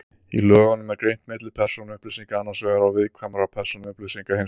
Í lögunum er greint milli persónuupplýsinga annars vegar og viðkvæmra persónuupplýsinga hins vegar.